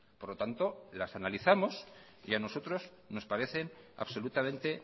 por lo tanto las analizamos y a nosotros nos parecen absolutamente